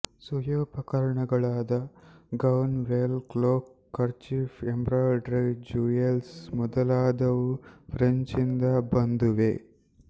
ಸುಖೋಪಕರಣಗಳಾದ gown veil cloak kerchief embroidery jewel ಮೊದಲಾದವೂ ಫ್ರೆಂಚ್ನಿಂದ ಬಂದುವೇ